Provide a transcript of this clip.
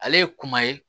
Ale ye kuma ye